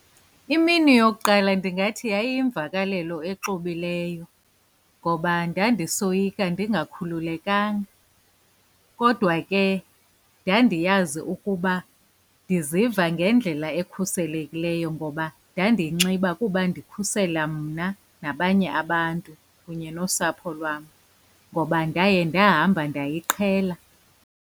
Imini yokuqala ndingathi yayiyimvakalelo exubileyo ngoba ndandisoyika ndingakhululekanga. Kodwa ke ndandiyazi ukuba ndiziva ngendlela ekhuselekileyo ngoba ndandiyinxiba kuba ndikhusela mna nabanye abantu kunye nosapho lwam, ngoba ndaye ndahamba ndayiqhela.